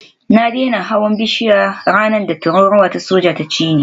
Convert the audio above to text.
Na daina hawan bishiya ranar da tururuwa ta soja ta cini